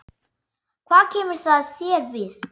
Hvað kemur það þér við?